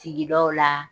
Sigidaw la